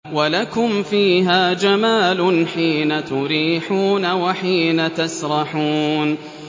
وَلَكُمْ فِيهَا جَمَالٌ حِينَ تُرِيحُونَ وَحِينَ تَسْرَحُونَ